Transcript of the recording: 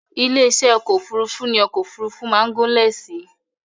Ilé-iṣẹ́ ọkọ̀ òfurufú ní ọkọ̀ òfurufú máa ń gúnlẹ̀ sí